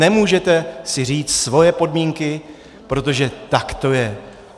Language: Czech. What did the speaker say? Nemůžete si říct svoje podmínky, protože tak to je!